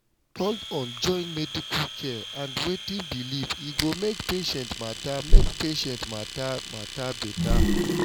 hold on join medical care and wetin you believe e go make patient matter make patient matter beta.